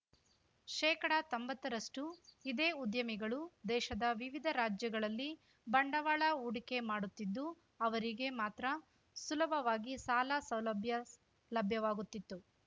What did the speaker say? ಶೇಕಡತೊಂಬತ್ತರಷ್ಟುಇದೇ ಉದ್ಯಮಿಗಳು ದೇಶದ ವಿವಿಧ ರಾಜ್ಯಗಳಲ್ಲಿ ಬಂಡವಾಳ ಹೂಡಿಕೆ ಮಾಡುತ್ತಿದ್ದು ಅವರಿಗೆ ಮಾತ್ರ ಸುಲಭವಾಗಿ ಸಾಲ ಸೌಲಭ್ಯ ಲಭ್ಯವಾಗುತ್ತಿತ್ತು